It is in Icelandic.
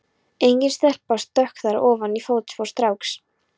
Engin stelpa stökk þar ofan í fótspor stráks.